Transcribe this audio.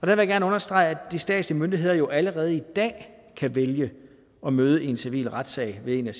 jeg gerne understrege at de statslige myndigheder jo allerede i dag kan vælge at møde i en civil retssag ved en af